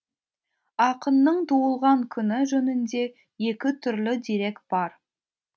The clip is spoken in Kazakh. ақынның туылған күні жөнінде екі түрлі дерек бар